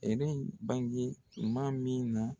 Erɛ in bange tuman min na